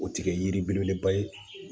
O tɛ kɛ yiri belebeleba ye